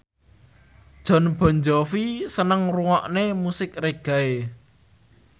Jon Bon Jovi seneng ngrungokne musik reggae